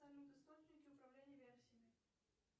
салют источники управления версиями